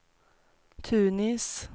Tunis